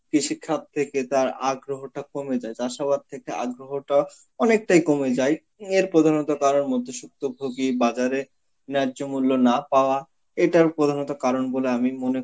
কৃষিখাত থেকে তার আগ্রহতা কমে যায়, চাষাবাদ থেকে আগ্রহতা অনেকটাই কমে যায়, এর প্রধানত কারণ মধ্যসুক্ত ভোগী বাজারে নব্য মূল্য না পাওয়া এটার প্রধানত কারণ বলে আমি মনে